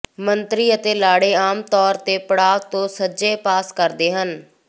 ਮੰਤਰੀ ਅਤੇ ਲਾੜੇ ਆਮ ਤੌਰ ਤੇ ਪੜਾਅ ਤੋਂ ਸੱਜੇ ਪਾਸ ਕਰਦੇ ਹਨ